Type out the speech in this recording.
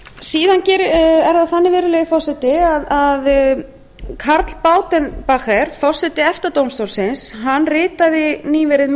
síðan er það þannig virðulegi forseti að karl bauten bacher forstjóri efta dómstólsins ritaði nýverið mjög